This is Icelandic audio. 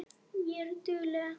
Ég var dugleg.